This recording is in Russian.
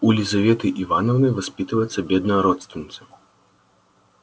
у лизаветы ивановны воспитывается бедная родственница